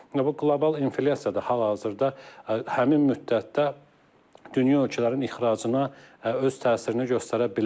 Bu qlobal inflyasiyada hal-hazırda həmin müddətdə dünya ölkələrinin ixracına öz təsirini göstərə bilər.